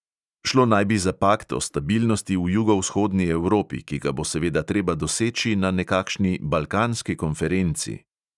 Šlo naj bi za pakt o stabilnosti v jugovzhodni evropi, ki ga bo seveda treba doseči na nekakšni balkanski konferenci.